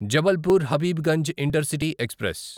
Jabalpur Habibganj intercity express